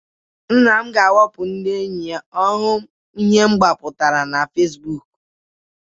Nna ga-ewepu na ndị enyi ya ma ọ hụ ihe m gbapụtara na Fesibuuku.